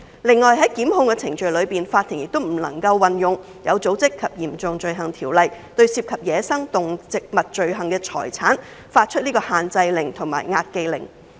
另外，在檢控程序中，法庭也不能運用《有組織及嚴重罪行條例》，對涉及走私野生動植物罪行的財產發出限制令或押記令。